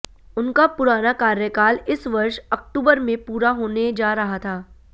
उनका पुराना कार्यकाल इस वर्ष अक्टूबर में पूरा होने जा रहा था